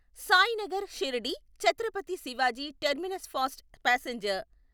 Sainagar Shirdi Chhatrapati Shivaji terminus fast passenger